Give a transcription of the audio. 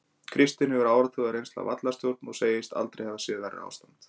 Kristinn hefur áratuga reynslu af vallarstjórn og segist aldrei hafa séð verra ástand.